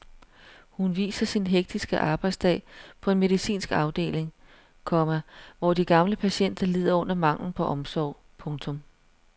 Hun viser sin hektiske arbejdsdag på en medicinsk afdeling, komma hvor de gamle patienter lider under manglen på omsorg. punktum